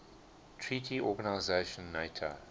treaty organization nato